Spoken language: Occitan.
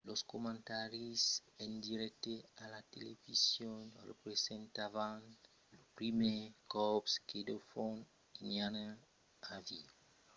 los comentaris en dirècte a la television representavan lo primièr còp que de fons nautas iranianas avián admés que las sancions avián d'efièches